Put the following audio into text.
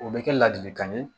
O bɛ kɛ ladilikan ye